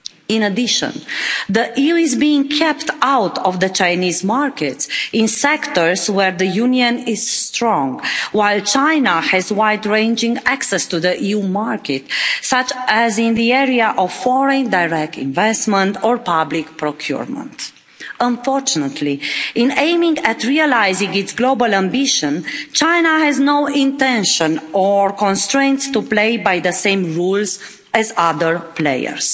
In addition, the EU is being kept out of the Chinese market in sectors where the Union is strong, while China has wide ranging access to the EU market, such as in the area of foreign direct investment or public procurement. Unfortunately, in aiming at realising its global ambition, China has no intention or constraints to play by the same rules as other players.